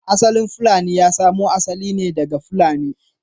Asalin fulani ya samo asali ne daga Fulani.